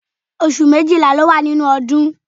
Oṣù méjìlá ló wà nínú ọdún